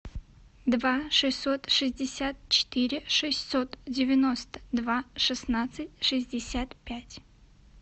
два шестьсот шестьдесят четыре шестьсот девяносто два шестнадцать шестьдесят пять